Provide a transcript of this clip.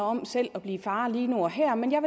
om selv at blive far lige nu og her men jeg